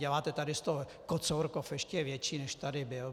Děláte tady z toho kocourkov ještě větší, než tady byl.